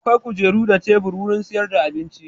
Akwai kujeru da tebur wurin sayar da abinci.